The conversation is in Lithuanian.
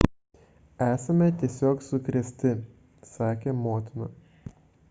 esame tiesiog sukrėsti – sakė motina